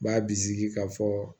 B'a bisigi ka fɔ